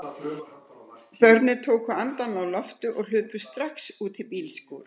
Börnin tóku andann á lofti og hlupu strax út í bílskúr.